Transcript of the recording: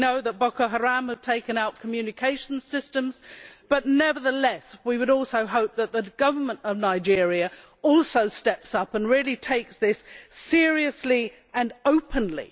we know that Boko Haram have taken out communications systems, but nevertheless we would also hope that the government of Nigeria also steps up and really takes this seriously and openly.